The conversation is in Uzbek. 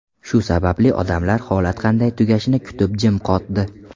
Shu sababli odamlar holat qanday tugashini kutib, jim qotdi.